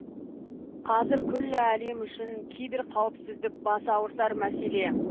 қазір күллі әлем үшін киберқауіпсіздік бас ауыртар мәселе